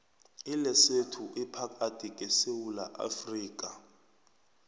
ilesotho iphakathi kwe sewula afrika